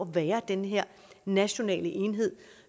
være den her nationale enhed